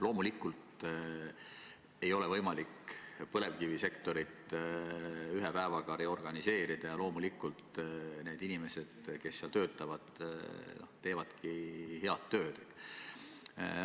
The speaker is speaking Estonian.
Loomulikult ei ole võimalik põlevkivisektorit ühe päevaga reorganiseerida ja loomulikult need inimesed, kes seal töötavad, teevad head tööd.